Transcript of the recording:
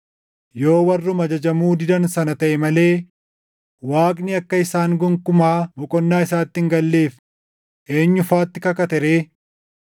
Yoo warruma ajajamuu didan sana taʼe malee Waaqni akka isaan gonkumaa boqonnaa isaatti hin galleef eenyu faatti kakate ree?